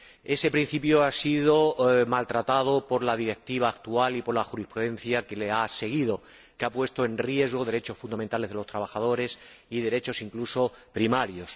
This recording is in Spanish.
Ese principio ha sido menoscabado por la Directiva actual y por la jurisprudencia que le ha seguido, que ha puesto en riesgo derechos fundamentales de los trabajadores y derechos incluso primarios.